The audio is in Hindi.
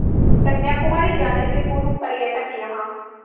कन्याकुमारी जाने से पूर्व पर्यटक यहाँ